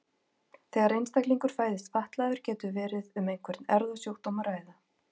Þegar einstaklingur fæðist fatlaður getur verið um einhvern erfðasjúkdóm að ræða.